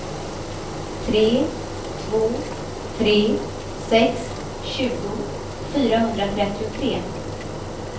tre två tre sex tjugo fyrahundratrettiotre